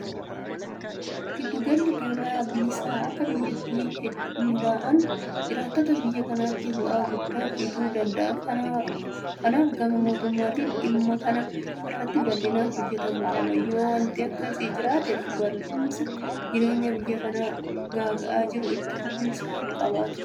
Giddu galli gabaa bilisaa akka biyyaatti hundaa'uun jiraattota biyya kanaatiif bu'aa guddaa fiduu danda'a. Kanaaf gama mootummaatiin dhimma kana irratti bal'inaan hojjetamuu qaba. Yoo waanti akkasii jiraate qaala'insi jireenyaa biyya kana gaaga'aa jiru itti fufinsa hinqabaatu.